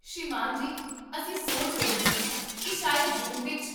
ਸ੍ਰੀਮਾਨ ਜੀ, ਅਸੀਂ ਸੋਚ ਰਹੇ ਸੀ ਕੀ ਸ਼ਾਇਦ ਜੂਨ ਵਿਚ?